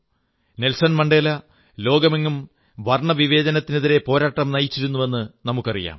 Nelson Mandela ലോകമെങ്ങും വർണ്ണവിവേചനത്തിനെതിരെ പോരാട്ടം നയിച്ചിരുന്നുവെന്നു നമുക്കറിയാം